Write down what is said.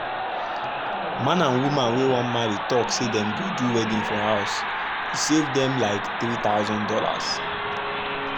man and woman wey wan marry talk say dem go do the wedding for house e save dem like three thousand dollars.